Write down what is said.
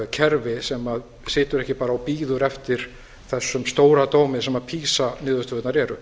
kerfi sem situr ekki bara og bíður eftir þessum stóradómi sem pisa niðurstöðurnar eru